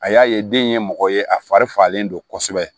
A y'a ye den ye mɔgɔ ye a fari falen don kosɛbɛ